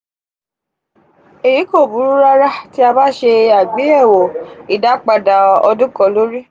eyi ko buru rara ti a ba se agbeyewo idapada odun kan lori...